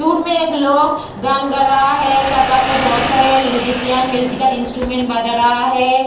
दूर में एक लोग गान गा रहा है चार पांच में बहुत सारे म्यूजिशियन म्यूजिकल इंस्ट्रूमेंट बजा रहा है।